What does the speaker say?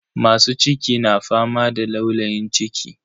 Masu ciki na fama da laulayin ciki.